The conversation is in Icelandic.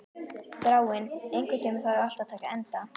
Þráinn, einhvern tímann þarf allt að taka enda.